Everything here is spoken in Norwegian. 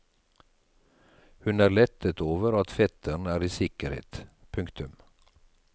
Hun er lettet over at fetteren er i sikkerhet. punktum